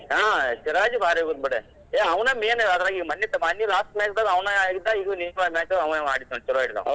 ಹಾ ಸಿರಾಜ್ ಭಾರಿ ಹೊಡದ್ ಬಿಡ್, ಹೇ ಅವನ main ಅದ್ರಾಗ್ ಮನ್ನಿ~ ಮನ್ನಿದ್ last match ದಾಗ್ಅವನ ಆಡಿದ್ದಾ ಈಗೂ ಆವಾ ಅಡಿದಾ ನೋಡ್ ಚುಲೊ ಆಡಿದ ಅವ್.